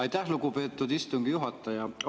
Aitäh, lugupeetud istungi juhataja!